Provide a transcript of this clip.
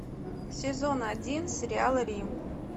сезон один сериал рим